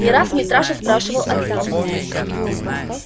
не раз митраша спрашивал отца